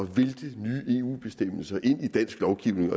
vælte nye eu bestemmelser ind i dansk lovgivning